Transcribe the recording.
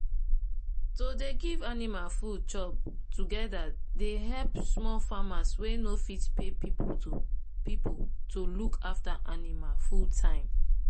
to dey give animal food chop together dey help small farmers wey no fit pay people to people to look after animal full time.